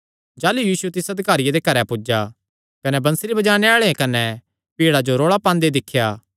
जाह़लू यीशु तिस अधिकारिये दे घरैं पुज्जा कने बंसरी बजाणे आल़ेआं कने भीड़ा जो रोल़ा पांदे दिख्या